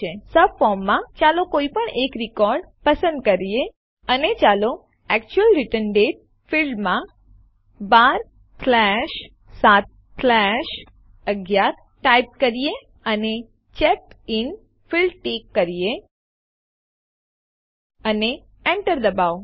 સબફોર્મમાં ચાલો કોઈપણ એક રિકોર્ડ નોંધ પસંદ કરીએ અને ચાલો એક્ચ્યુઅલ રિટર્ન દાતે ફીલ્ડમાં 12711 ટાઈપ કરીએ અને ચેકડિન ફીલ્ડ ટીક કરીએ અને Enter દબાવો